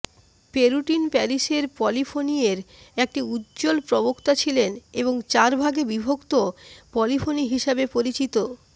Perotin প্যারিসের পলিফোনিয়ের একটি উজ্জ্বল প্রবক্তা ছিলেন এবং চার ভাগে বিভক্ত পলিফোনি হিসেবে পরিচিত